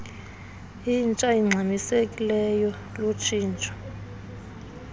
intsha ingxamisekileyo lutshintsho